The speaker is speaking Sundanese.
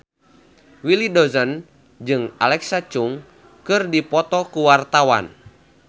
Willy Dozan jeung Alexa Chung keur dipoto ku wartawan